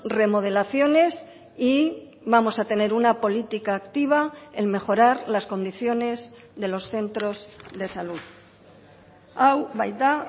remodelaciones y vamos a tener una política activa en mejorar las condiciones de los centros de salud hau baita